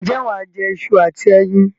Ǹjẹ́ wà á jẹ iṣu àti ẹyin?